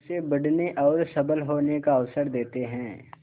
उसे बढ़ने और सबल होने का अवसर देते हैं